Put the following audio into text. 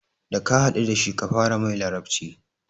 Da ka haɗu dashi kafara mai larabci